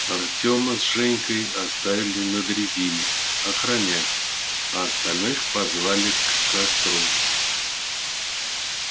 артема с женькой оставили на дрезине охранять а остальных позвали к костру